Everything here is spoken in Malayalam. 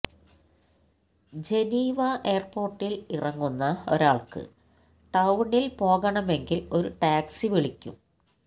ജനീവ എയര്പോര്ട്ടില് ഇറങ്ങുന്ന ഒരാള്ക്ക് ടൌണില് പോകണമെങ്കില് ഒരു ടാക്സി വിളിക്കും